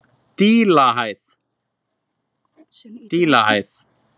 Dílahæð